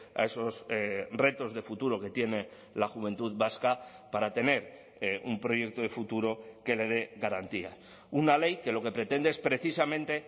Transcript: a esos retos de futuro que tiene la juventud vasca para tener un proyecto de futuro que le dé garantía una ley que lo que pretende es precisamente